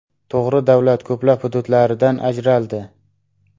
To‘g‘ri, davlat ko‘plab hududlaridan ajraldi.